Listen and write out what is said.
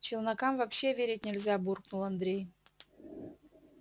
челнокам вообще верить нельзя буркнул андрей